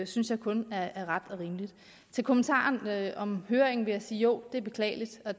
synes jeg kun er ret og rimeligt til kommentaren om høringen vil jeg sige at jo det er beklageligt og